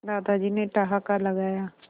दादाजी ने ठहाका लगाया